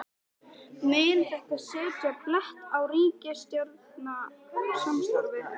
Þorbjörn Þórðarson: Mun þetta setja blett á ríkisstjórnarsamstarfið?